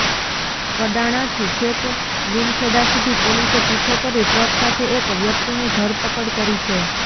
કડાણાથી છેક લીમખેડા સુધી પોલીસે પીછો કરી ટ્રક સાથે એક વ્યકિતની ધરપકડ કરી છે